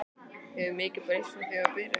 Hefur mikið breyst frá því þú byrjaðir?